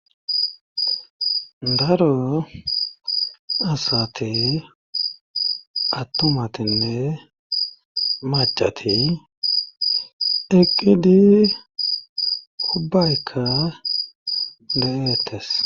Daro asati attumatinne macati eqqidi hubbaykka de'eettes